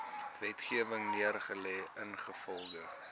wetgewing neergelê ingevolge